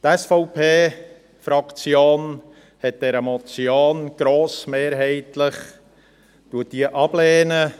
Die SVP-Fraktion lehnt diese Motion grossmehrheitlich ab.